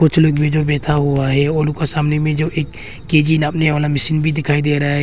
चलो एक मेजर बैठा हुआ है और उका सामने में एक के जी नापने वाला मशीन भी दिखाई दे रहा है।